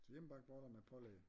Hjemmebagte boller med pålæg